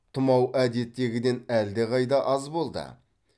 тұмау әдеттегіден әлдеқайда аз болды